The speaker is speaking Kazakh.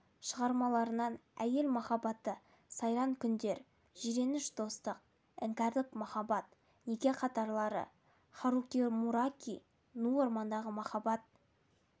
шығармаларынан әйел махаббаты сайран күндер жиреніш достық іңкәрлық махаббат неке қатарлылары харукимураками ну ормандағы махаббат